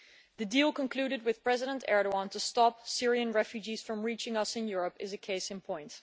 The deal concluded with President Erdoğan to stop Syrian refugees from reaching us in Europe is a case in point.